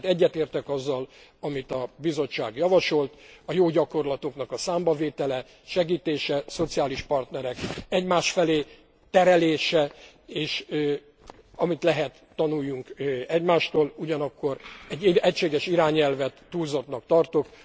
Én tehát egyetértek azzal, amit a Bizottság javasolt a jó gyakorlatoknak a számbavétele, segítése, a szociális partnerek egymás felé terelése, és amit lehet, tanuljunk egymástól, ugyanakkor egy egységes irányelvet túlzottnak tartok.